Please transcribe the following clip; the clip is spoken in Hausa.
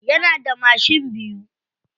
Yana da mashin biyu.